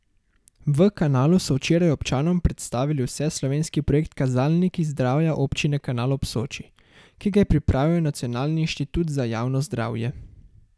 V Kanalu so včeraj občanom predstavili vseslovenski projekt Kazalniki zdravja občine Kanal ob Soči, ki ga je pripravil Nacionalni inštitut za javno zdravje.